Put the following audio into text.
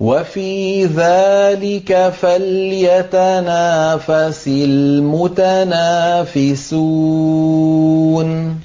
وَفِي ذَٰلِكَ فَلْيَتَنَافَسِ الْمُتَنَافِسُونَ